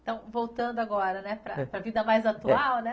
Então, voltando agora, né, para a vida mais atual, né?